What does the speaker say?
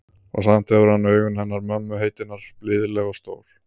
Og samt hefur hann augun hennar mömmu heitinnar, blíðleg og stór.